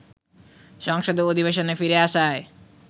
সংসদের অধিবেশনে ফিরে আসায়